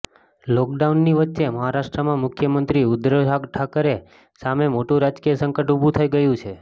લોકડાઉનની વચ્ચે મહારાષ્ટ્રમાં મુખ્યમંત્રી ઉદ્ધવ ઠાકરે સામે મોટું રાજકીય સંકટ ઉભું થઇ ગયું છે